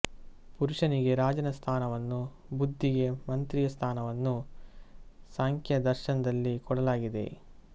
ಪುರುಷನಿಗೆ ರಾಜನ ಸ್ಥಾನವನ್ನೂ ಬುದ್ಧಿಗೆ ಮಂತ್ರಿಯ ಸ್ಥಾನವನ್ನೂ ಸಾಂಖ್ಯದರ್ಶನದಲ್ಲಿ ಕೊಡಲಾಗಿದೆ